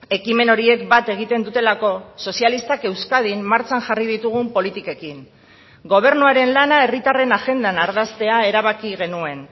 ekimen horiek bat egiten dutelako sozialistak euskadin martxan jarri ditugun politikekin gobernuaren lana herritarren agendan ardaztea erabaki genuen